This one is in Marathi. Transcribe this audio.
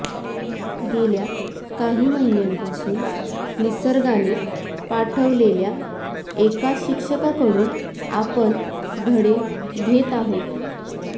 गेल्या काही महिन्यांपासून निसर्गाने पाठवलेल्या एका शिक्षकाकडून आपण धडे घेत आहोत